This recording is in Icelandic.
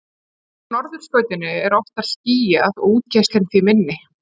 Á norðurskautinu er oftar skýjað og útgeislun því minni.